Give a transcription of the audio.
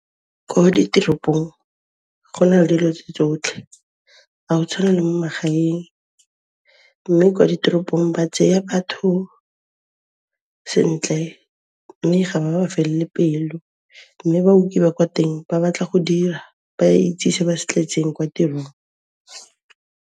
Ko diteropong, go na le dilo tse tsotlhe ao tshwane le mo magaeng, mme kwa diteropong ba tseya batho sentle, mme ga ba ba felle pelo, mme baoki ba kwa teng ba batla go dira, ba itse se ba se tletseng kwa tirong.